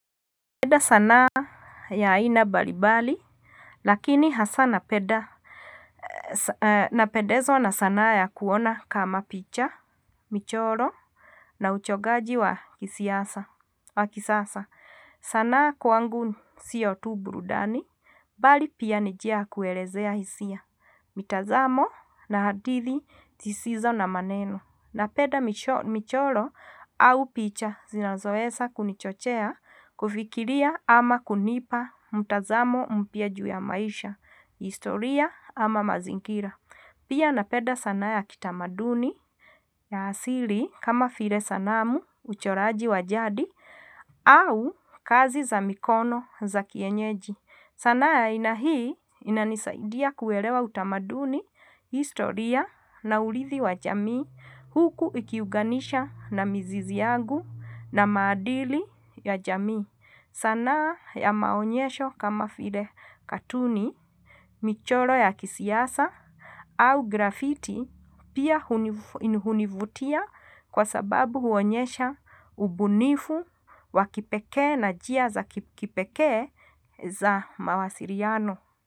Napeda sanaa ya aina mbalimbali. Lakini hasa napeda. Napedezwa na sanaa ya kuona kama picha Michoro Na uchongaji wa kisasa. Sanaa kwangu sio tu burudani. Bali pia ni njia ya kuelezea hisia mitazamo na hadithi zisizo na maneno. Napenda michoro au picha zinazoweza kunichochea kufikiria ama kunipa mtazamo mpia ju ya maisha, historia ama mazingira. Pia napeda sanaa ya kitamaduni ya asili kama vile sanamu, uchoraji wajadi au kazi za mikono za kienyeji. Sanaa ya aina hii inanisaidia kuelewa utamaduni, historia na uridhi wa jamii huku ikiuganisha na mzizi yangu na maadili ya jamii. Sanaa ya maonyesho kama vile katuni, michoro ya kisiasa au grafiti pia hunivutia kwa sababu huonyesha ubunifu wakipekee na njia za kipekee za mawasiliano.